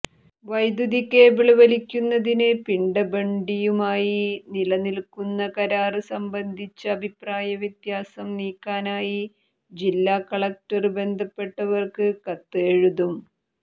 വൈദ്യതികേബിള് വലിക്കുന്നതിന് പിഡബഌുഡിയുമായി നിലനില്ക്കുന്ന കരാര് സംബന്ധിച്ച അഭിപ്രായവ്യത്യാസം നീക്കാനായി ജില്ലാ കളക്ടര് ബന്ധപ്പെട്ടവര്ക്ക് കത്ത് എഴുതും